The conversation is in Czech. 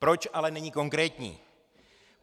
Proč ale není konkrétní?